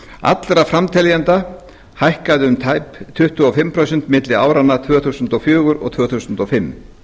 allra framteljenda hækkaði um tæp tuttugu og fimm prósent milli áranna tvö þúsund og fjögur og tvö þúsund og fimm